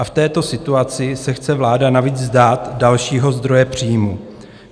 A v této situaci se chce vláda navíc vzdát dalšího zdroje příjmů.